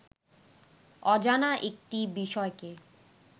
অজানা একটি বিষয়কে